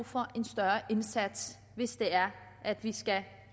for en større indsats hvis det er at vi skal